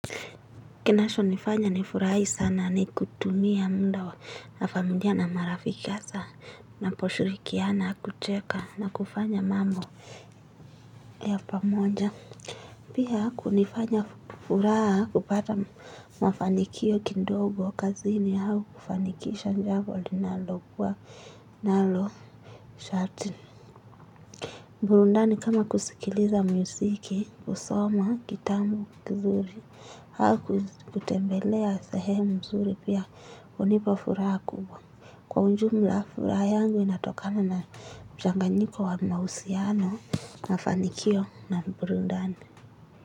Kinachonifanya nifurahi sana ni kutumia mda wa na familia na marafiki hasa na naposhirikiana kucheka na kufanya mambo ya pamoja. Pia kunifanya furaha kupata mafanikio kidogo kazini au kufanikisha jambo linalokuwa nalo sharti. Burudani kama kusikiliza muziki, husoma, kitabu, kizuri, au kutembelea sehemu mzuri pia hunipa furaha kubwa. Kwa ujumla furaha yangu inatokana na mchanganyiko wa mahusiano na fanikio na burudani.